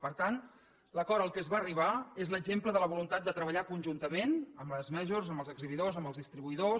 per tant l’acord a què es va arribar és l’exemple de la voluntat de treballar conjuntament amb les majorsamb els exhibidors amb els distribuïdors